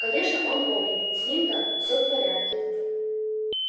конечно он помнит с ним-то всё в порядке